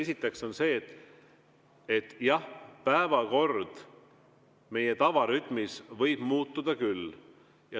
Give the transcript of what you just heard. Esiteks see, et jah, päevakord võib meie tavarütmi korral muutuda küll.